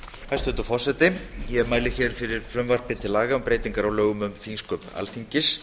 hæstvirtur forseti ég mæli hér fyrir frumvarpi til laga um breytingar á lögum um þingsköp alþingis